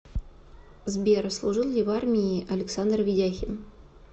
сбер служил ли в армии александр ведяхин